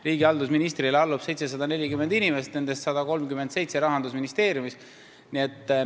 Riigihalduse ministrile allub 740 inimest, nendest 137 töötab Rahandusministeeriumis.